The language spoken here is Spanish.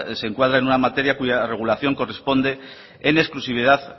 se encuadra en una materia cuya regulación corresponde en exclusividad